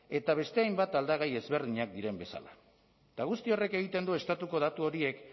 eta beste hainbat aldagai ezberdinak diren bezala eta guzti horrek egiten du estatuko datu horiek